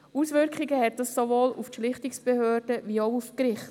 Auswirkungen hat dies sowohl auf die Schlichtungsbehörden als auch auf die Gerichte.